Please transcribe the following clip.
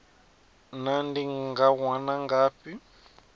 naa ndi nga wana ngafhi